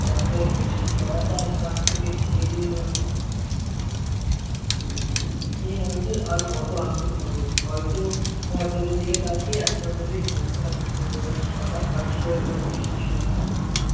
বাটুয়ায় রয়েছে। মা তার কাছ থেকে চেয়ে নিলোনা কোনো? মেয়ে মানুষের আর কত আক্কেল হবে? হয়তো ঘর দরের দিকে তাকিয়ে এক নজরেই সংসার কথা আঁচ করে নেওয়া উচিত ছিল তার।